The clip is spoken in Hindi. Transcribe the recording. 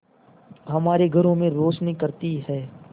हमारे घरों में रोशनी करती है